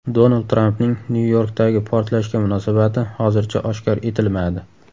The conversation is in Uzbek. Donald Trampning Nyu-Yorkdagi portlashga munosabati hozircha oshkor etilmadi.